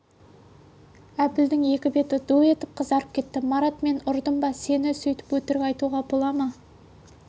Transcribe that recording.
әбілдің екі беті ду етіп қызарып кетті марат мен ұрдым ба сені сөйтіп өтірік айтуға бола ма